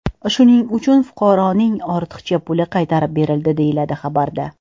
Shuning uchun fuqaroning ortiqcha puli qaytarib berildi”, deyiladi xabarda.